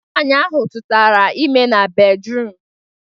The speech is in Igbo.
Nwaanyi ahụ tụtara ime na bedruum